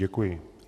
Děkuji.